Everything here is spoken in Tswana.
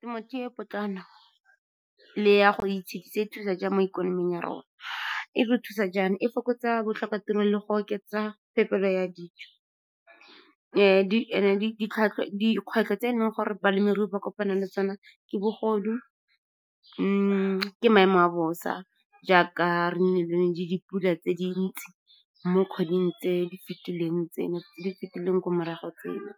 Temothuo e potlana le ya go itshedisa e thusa jang mo ikonoming ya rona? E re thusa jaana, e fokotsa botlhokatiro le go oketsa phephelo ya dijo. Dikgwetlho tse eleng gore balemirui ba kopana le tsone ke bogodu, ke maemo a bosa, jaaka re nne le ne le dipula tse dintsi mo kgweding tse di fetileng ko morago, tseno